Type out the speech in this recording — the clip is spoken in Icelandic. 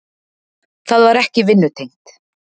Það var ekki vinnutengt.